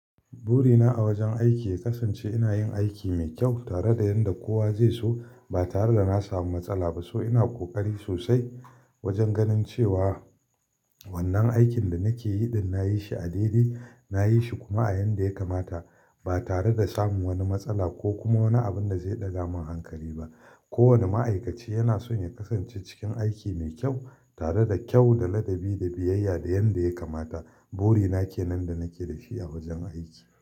Burina a wajen aiki ya kasance ina yin aiki mai kyau tare da yanda kowa zai so ba tare da na samu matsala ba. So ina ƙoƙari sosai wajen ganin cewa wannan aikin da nake yi ɗin nayi shi a daidai nayi shi kuma a yanda ya kamata ba tare da samun wani matsala ko kuma wani abun da zai ɗaga min hankali ba. Ko wane ma'aikaci yana son ya kasance cikin aiki mai kyau tare da kyau, da ladabi, da biyayya da yanda ya kamata. Burina ke nan da nake da shi a wajen aiki.